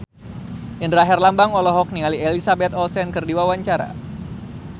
Indra Herlambang olohok ningali Elizabeth Olsen keur diwawancara